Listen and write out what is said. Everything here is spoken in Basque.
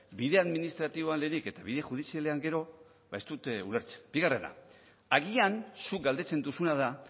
bide administratiboan lehenik eta bide judizialean gero ez dut ulertzen bigarrena agian zuk galdetzen duzuna da